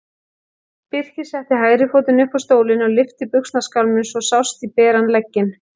Birkir setti hægri fótinn upp á stólinn og lyfti buxnaskálminni svo sást í beran legginn.